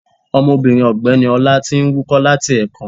Omobìnrin ọ̀gbẹ́ni ọlá ti n wúkọ́ láti èkan